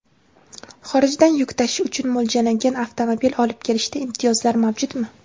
Xorijdan yuk tashish uchun mo‘ljallangan avtomobil olib kelishda imtiyozlar mavjudmi?.